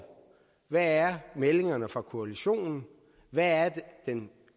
hvad er meldingerne fra koalitionen hvad er den